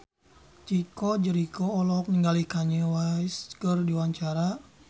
Chico Jericho olohok ningali Kanye West keur diwawancara